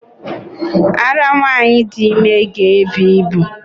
Ara nwanyị dị ime ga-ebu ibu